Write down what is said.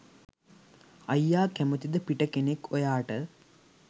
අයියා කැමතිද පිට කෙනෙක් ඔයාට